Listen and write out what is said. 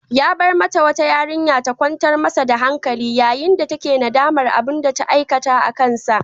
Ya bar mata wata yarinya ta kwantar masa da hankali, yayin da take nadamar abinda ta aikata akansa